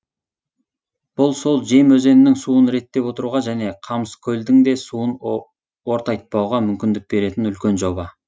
бұл сол жем өзенінің суын реттеп отыруға және қамыскөлдің де суын ортайтпауға мүмкіндік беретін үлкен жоба